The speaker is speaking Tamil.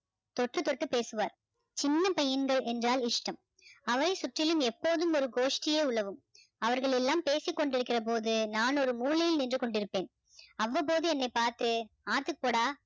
தொட்டு தொட்டு பேசுவார் சின்ன பையன்கள் என்றால் இஷ்டம் அவர் சுற்றிலும் எப்போதும் ஒரு கோஷ்டியே உலவும் அவர்கள் எல்லாம் பேசிக்கொண்டிருக்கிற போது நான் ஒரு மூலையில் நின்று கொண்டிருப்பேன் அவ்வப்போது என்னை பார்த்து ஆத்துக்கு போடா